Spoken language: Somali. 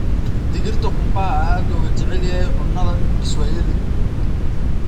Digirta qumbaha ayaa aad looga jecel yahay cunnada Kiswahili.